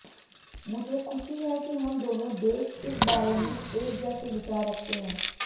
मुझे खुशी है कि हम दोनों देश इस बारे में एक जैसे विचार रखते हैं